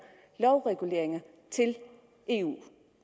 lovreguleringer til eu